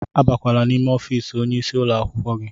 Abakwala n'ime ọfiisi onye isi ụlọ akwụkwọ gị!